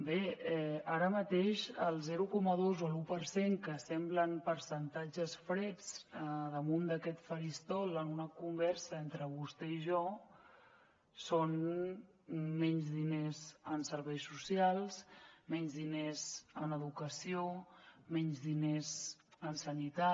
bé ara mateix el zero coma dos o l’un per cent que semblen percentatges freds damunt d’aquest faristol en una conversa entre vostè i jo són menys diners en serveis socials menys diners en educació menys diners en sanitat